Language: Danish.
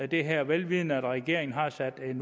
det her vel vidende at regeringen har sat et